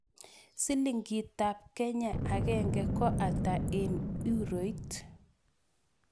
Silingitap Kenya agenge ko ata eng' euroit